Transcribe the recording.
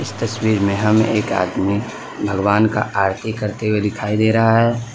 तस्वीर में हमें एक आदमी भगवान का आरती करते हुए दिखाई दे रहा है।